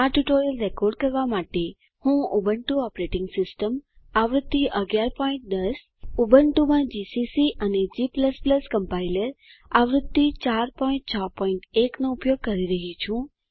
આ tutorial record કરવા માટે હું ઉબુન્ટુ ઓપરેટિંગ સિસ્ટમ આવૃત્તિ 1110 ઉબુન્ટુમાં જીસીસી અને g કમ્પાઈલર આવૃત્તિ 461 નો ઉપયોગ કરી રહ્યી છું